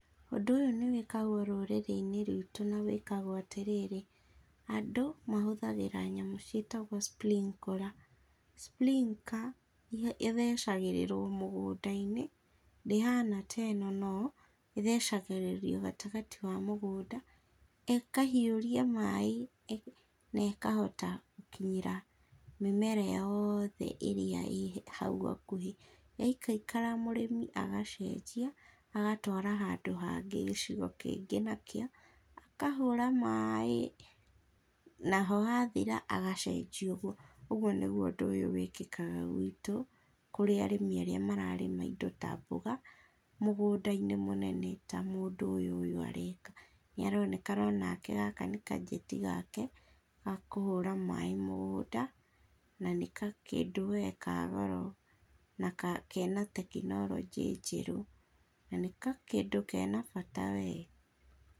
Ũndũ ũyũ nĩwekagwo rũrĩrĩ inĩ rwito na wĩkagwo atĩ rĩrĩ, andũ mahũthagĩra nyamũ cietagwo sprinkler, sprinker ĩthecagĩrĩrwo mũgũna inĩ ndĩ hana ta ino no ĩthecagĩrĩrio gatĩ gatĩ wa mũgũnda ĩkahiũria maĩ na ĩkahota gũkinyĩra mĩmera yothe ĩrĩa ĩ haũ hakũhe, yaikara kara mũrĩmi agacenjia agatwara handũ hagĩ gĩcigo kĩgĩ nakĩo, akahũra maĩ naho hathĩra agacenjĩa ũgũo. Ũgũo nĩgũo wĩkĩkaga gwĩto kũrĩ arĩmĩ arĩa mararĩma ĩndo ta mboga mũgũnda inĩ mũnene ta mũndũ ũyũ ũyũ areka nĩaraonekana onake gaka nĩ gajetĩ gake ga kũhũra maĩ mũgũnda na gakĩndũ we ka goro na kena tekinorojĩ jerũ na gakĩndũ kena bata we.